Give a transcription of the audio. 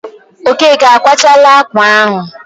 Okeke akwachaala ákwà ahụ?